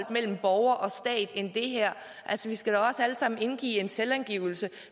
mellem borger og stat end det her altså vi skal da også alle sammen indgive en selvangivelse